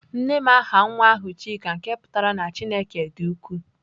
Nnem aha nwa ahu Chika nke putara na Chineke di uku.